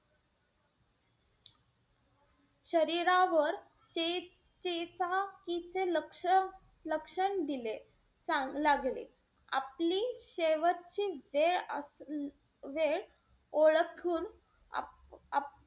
शरीरावर त्याचेच लक्ष~ लक्षण दिले लागले. आपली शेवटची वेळ-वेळ ओळखून आप,